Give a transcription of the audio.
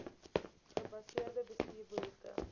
gebaseerde bestuur behoefte